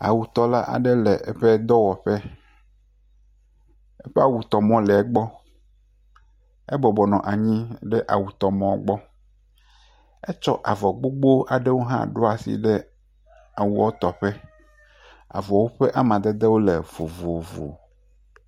Awutɔla aɖe le eƒe dɔwɔƒe, eƒe awutɔmɔ le gbɔ, ebɔbɔ nɔ anyi ɖe awutɔmɔ gbɔ, etsɔ avɔ gbogbowo ɖo asi ɖe awutɔƒe, avɔwo ƒe amadedewo vovovo.